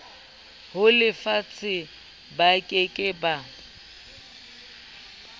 ho lefatshe ba ke ke